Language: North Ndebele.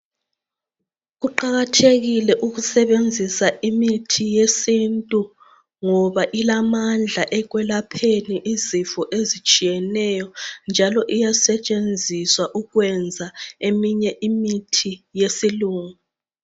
Kuqakathekile ukusebenzisa imithi yesintu ngoba ilamandla ekwelapheni izifo ezitshiyeneyo njalo iyasetshenziswa ukwenza eminye imithi yesilungu.